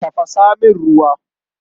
Tafasa masa ruwa.